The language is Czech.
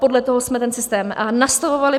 Podle toho jsme ten systém nastavovali.